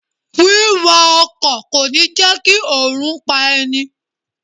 Wíwa ọkọ̀ kò ní jẹ́ kí oòrùn pá ẹni.